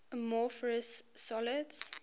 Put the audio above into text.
amorphous solids